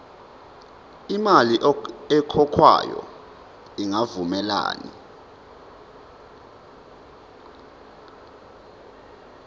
imali ekhokhwayo ingavumelani